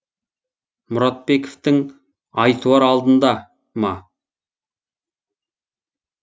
мұратбековтің ай туар алдында ма